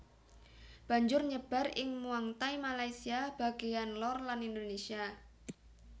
Banjur nyebar ing Muangthai Malaysia bagèyan lor lan Indonesia